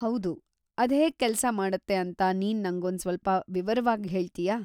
ಹೌದು, ಅದ್‌ ಹೇಗ್ ಕೆಲ್ಸ ಮಾಡತ್ತೆ ಅಂತ ನೀನ್‌ ನಂಗೊಂದ್ ಸ್ವಲ್ಪ ವಿವರವಾಗ್‌ ಹೇಳ್ತೀಯಾ?